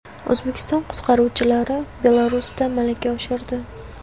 O‘zbekiston qutqaruvchilari Belarusda malaka oshirdi .